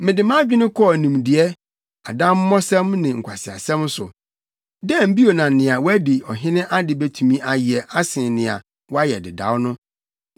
Mede mʼadwene kɔɔ nimdeɛ, adammɔsɛm ne nkwaseasɛm so. Dɛn bio na nea wadi ɔhene ade betumi ayɛ asen nea wɔayɛ dedaw no?